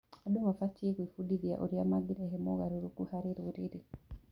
Andũ mabatiĩ gwĩbundithia ũrĩa mangĩrehe mogarũrũku harĩ rũrĩrĩ.